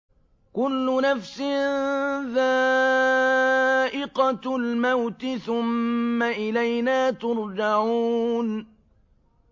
كُلُّ نَفْسٍ ذَائِقَةُ الْمَوْتِ ۖ ثُمَّ إِلَيْنَا تُرْجَعُونَ